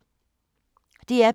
DR P2